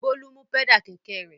Bólú mú pẹ́dà kẹ̀kẹ́ rẹ̀.